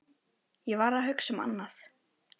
Ég var að hugsa um annað.